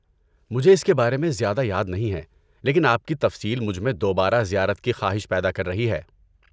مجھے اس کے بارے میں زیادہ یاد نہیں ہے، لیکن آپ کی تفصیل مجھ میں دوبارہ زیارت کی خواہش پیدا کر رہی ہے۔